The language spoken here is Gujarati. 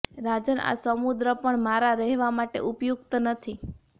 રાજન આ સમુદ્ર પણ મારાં રહેવાં માટે ઉપયુક્ત નથી